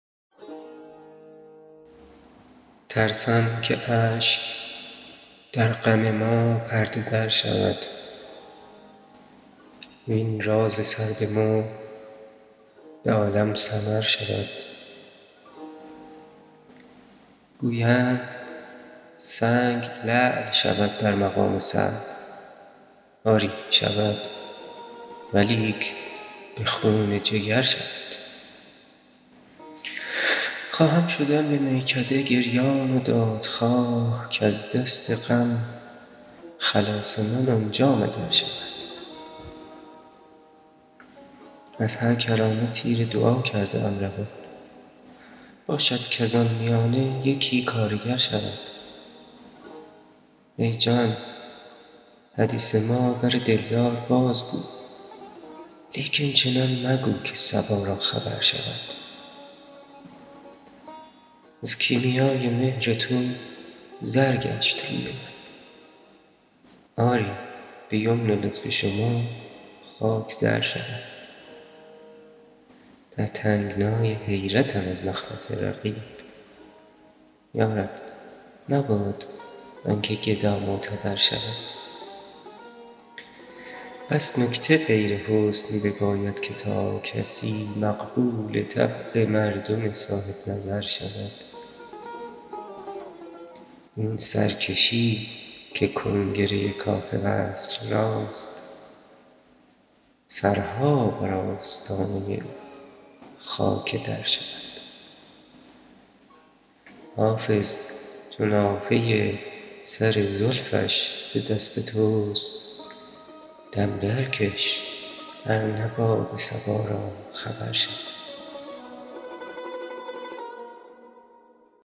ترسم که اشک در غم ما پرده در شود وین راز سر به مهر به عالم سمر شود گویند سنگ لعل شود در مقام صبر آری شود ولیک به خون جگر شود خواهم شدن به میکده گریان و دادخواه کز دست غم خلاص من آنجا مگر شود از هر کرانه تیر دعا کرده ام روان باشد کز آن میانه یکی کارگر شود ای جان حدیث ما بر دلدار بازگو لیکن چنان مگو که صبا را خبر شود از کیمیای مهر تو زر گشت روی من آری به یمن لطف شما خاک زر شود در تنگنای حیرتم از نخوت رقیب یا رب مباد آن که گدا معتبر شود بس نکته غیر حسن بباید که تا کسی مقبول طبع مردم صاحب نظر شود این سرکشی که کنگره کاخ وصل راست سرها بر آستانه او خاک در شود حافظ چو نافه سر زلفش به دست توست دم درکش ار نه باد صبا را خبر شود